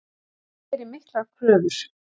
Ég geri miklar kröfur.